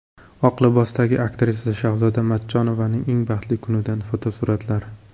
Oq libosdagi aktrisa Shahzoda Matchonovaning eng baxtli kunidan fotosuratlar.